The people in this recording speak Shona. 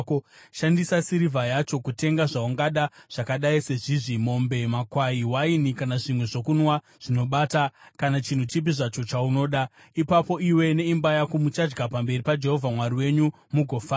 Shandisa sirivha yacho kutenga zvaungada, zvakadai sezvizvi: mombe, makwai, waini kana zvimwe zvokunwa zvinobata, kana chinhu chipi zvacho chaunoda. Ipapo iwe neimba yako muchadya pamberi paJehovha Mwari wenyu mugofara.